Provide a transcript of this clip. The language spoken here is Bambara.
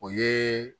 O ye